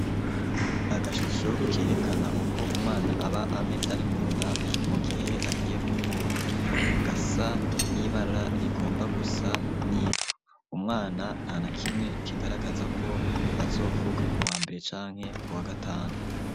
Agashusho, kerekana, uko umwana aba ameze, ari mu nda, mu gihe agiye kuvuka; gasa n'ibara, rigomba gusa n'ivu; umwana, nta na kimwe, kigaragaza ko, azovuka ku wa mbere, canke ku wa gatanu.